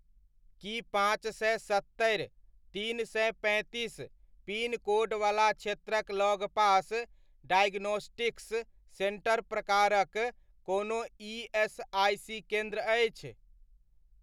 की पाँच सए सत्तरि, तीन सए तैंतीस पिन कोडवला क्षेत्रक लगपास डाइगोनोस्टिक्स सेन्टर प्रकारक कोनो ईएसआइसी केन्द्र अछि?